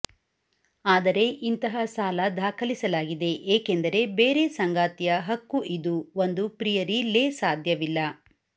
ಆದರೆ ಇಂತಹ ಸಾಲ ದಾಖಲಿಸಲಾಗಿದೆ ಏಕೆಂದರೆ ಬೇರೆ ಸಂಗಾತಿಯ ಹಕ್ಕು ಇದು ಒಂದು ಪ್ರಿಯರಿ ಲೇ ಸಾಧ್ಯವಿಲ್ಲ